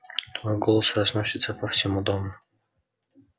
твой голос разносится по всему дому